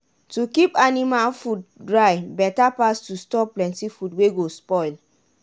to keep anima food dry beta pass to store plenty food wey go spoil.